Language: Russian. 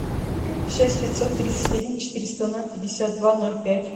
шесть пятьсот тридцать один четыреста ноль пятьдесят два ноль пять